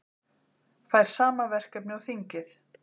Fær sama verkefni og þingið